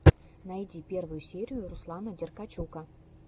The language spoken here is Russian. найди первую серию руслана деркачука